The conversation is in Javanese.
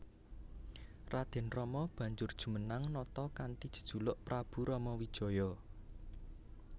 Raden Rama banjur jumenang nata kanthi jejuluk Prabu Ramawijaya